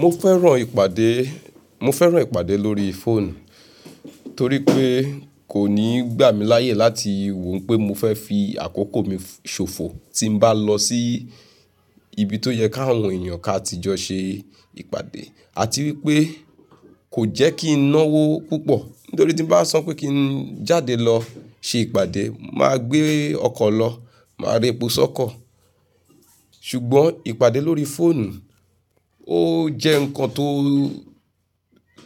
Mo fẹ́ràn ìpàdé, mo fẹ́ràn ìpàdé lórí phone, torí pé kò ní gbà mí láàyè láti wo n pé mo fẹ́ fi àkókò mi ṣòfò tí n bá lọ sí ibi tó yẹ káwọn èèyàn ká tí jọ ṣe ìpàdé àti wípé kò jẹ́ kí n náwó púpọ̀ nítorí tí n bá sọ pé kí n jáde lọ ṣe ìpàdé, máa gbé ọkọ̀ lọ, máa re epo sọ́kọ̀. Ṣùgbọ́n ìpàdé lórí phone ó jẹ́ nǹkan tó,